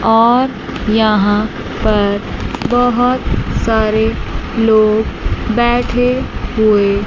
और यहां पर बहोत सारे लोग बैठे हुए--